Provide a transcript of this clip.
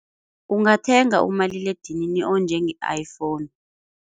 Ungathenga umaliledinini onjenge-iPhone.